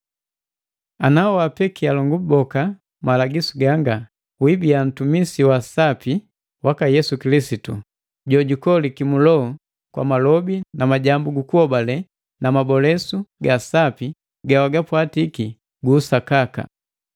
Ngati nawapeki alongu boka malagisu ganga, wibiya guntumisi wa sapi waka Yesu Kilisitu, kulikolesa kiloho kwa malobi na majambu guku hobale na mabolesu ga sapi gawagapwatiki gu usakaka.